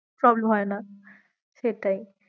problem হয়ে না, সেটাই